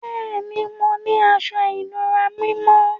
Bẹẹni, mò ní àṣọ-ìnúrà mímọ́.